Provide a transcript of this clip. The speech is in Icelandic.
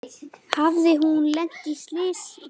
Hafði hún lent í slysi?